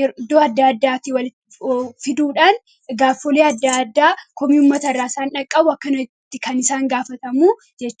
iddoo adda addaatii walitti fiduudhaan gaaffilee adda addaa komii uummatarraa isaan qaqqabu akkanatti gaafatamu jechuudha.